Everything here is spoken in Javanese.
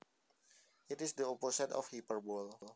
It is the opposite of hyperbole